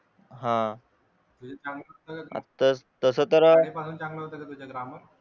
चांगलं होतं का तुझं ग्रामर